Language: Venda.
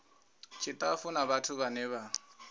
tshitafu na vhathu vhane vha